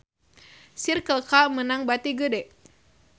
Circle K meunang bati gede